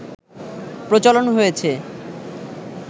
প্রচলন হয়েছে